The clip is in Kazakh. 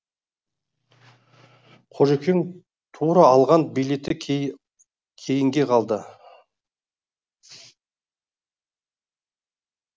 қожекең тура алған билеті кейінге қалды